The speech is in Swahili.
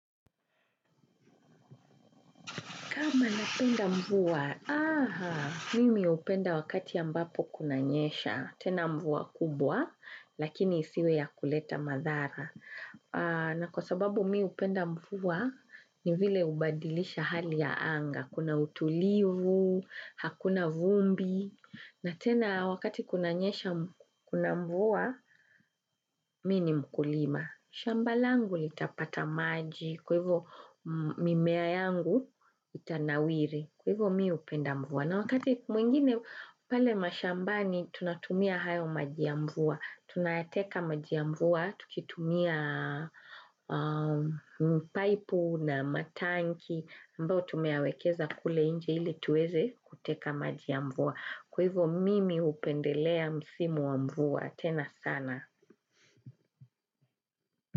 Kama napenda mvua, aha, mimi upenda wakati ya mbapo kunanyesha, tena mvua kubwa, lakini isiwe ya kuleta madhara. Na kwa sababu mi upenda mvua ni vile ubadilisha hali ya anga, kuna utulivu, hakuna vumbi, na tena wakati kunanyesha, kuna mvua, mini mkulima. Shamba langu litapata maji, kwa hivo mimea yangu itanawiri, kwa hivo mimi upenda mvua. Na wakati mwingine pale mashambani tunatumia hayo maji ya mvua. Tunayateka maji mvua, tukitumia mpaipu na matanki, ambao tumeawekeza kule inje ili tuweze kuteka maji ya mvua. Kwa hivo mimi upendelea msimu wa mvua, tena sana.